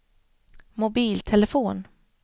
mobiltelefon